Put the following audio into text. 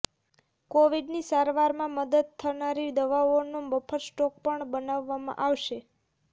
કોવિડની સારવારમાં મદદ થનારી દવાઓનો બફર સ્ટોક પણ બનાવવામાં આવશે